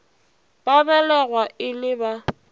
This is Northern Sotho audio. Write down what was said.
ba belegwa e le ba